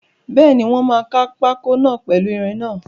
Bẹ́ẹ̀ni, wọ́n máa kaa pákó náà pèlu ìrìn náà